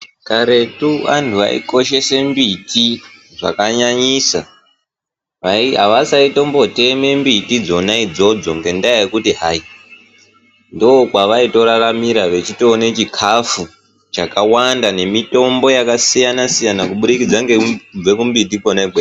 Karetu antu ayikoshesa mbiti zvakanyanyisa avaisambotema mniti dzona idzodzo ngendaa yekuti hai ndokwavaitoraramira vachitowana chikafu chakawanda nemitombo yakasiyana-siyana kuburikidza ngekubve kumimbitikwona ikweyo.